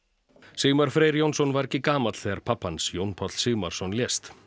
Sigmar Freyr Jónsson var ekki gamall þegar pabbi hans Jón Páll Sigmarsson lést